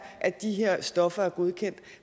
at de her stoffer er godkendt